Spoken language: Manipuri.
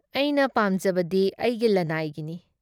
ꯑꯩꯅ ꯄꯥꯝꯖꯕꯗꯤ ꯑꯩꯒꯤ ꯂꯅꯥꯏꯒꯤꯅꯤ꯫